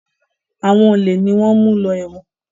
Àwọn olè ni wọ́n ń mú lọ ẹ̀wọ̀n.